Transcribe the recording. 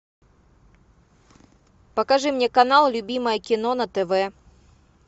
покажи мне канал любимое кино на тв